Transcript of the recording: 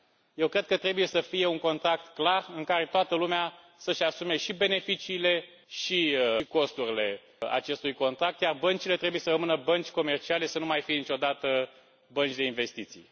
Eu cred că trebuie să fie un contract clar, în care toată lumea să își asume și beneficiile și costurile acestui contract, iar băncile trebuie să rămână bănci comerciale, să nu mai fie niciodată bănci de investiții.